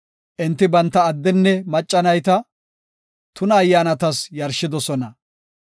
Enti banta addenne macca nayta tuna ayyaanatas yarshidosona.